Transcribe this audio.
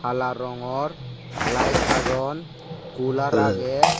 hala rongor laet agon kular agey.